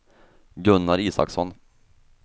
Gunnar Isaksson